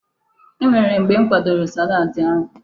E nwere mgbe m kwadoro salaadi ahụ.